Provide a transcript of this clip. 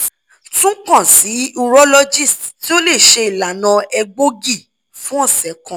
tun kan si urologist ti o le ṣe ilana egboogi fun ọsẹ kan